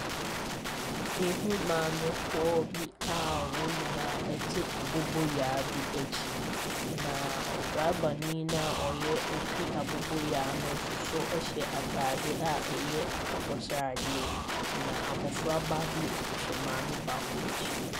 Mehunu maamefoɔ bi a wɔn nyinaate aboboyaa bi akyi, na drɔbani no a ɔyɛ Ɔretwi aboboyaa no nso so hyɛ atadeɛ a ɛyɛ akokɔsradeɛ, na abɔfraba bi nso hyɛ maame baako akyi.